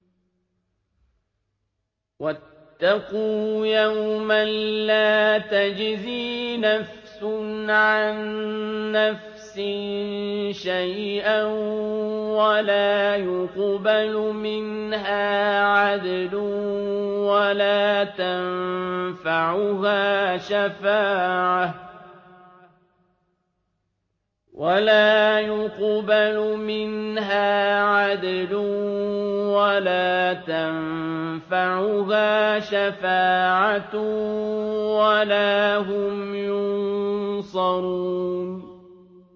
وَاتَّقُوا يَوْمًا لَّا تَجْزِي نَفْسٌ عَن نَّفْسٍ شَيْئًا وَلَا يُقْبَلُ مِنْهَا عَدْلٌ وَلَا تَنفَعُهَا شَفَاعَةٌ وَلَا هُمْ يُنصَرُونَ